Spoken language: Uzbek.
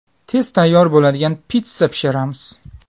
Tez tayyor bo‘ladigan pitssa pishiramiz.